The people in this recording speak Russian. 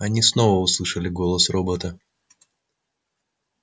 они снова услышали голос робота